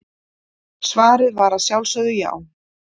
Svarið var að sjálfsögðu já.